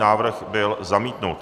Návrh byl zamítnut.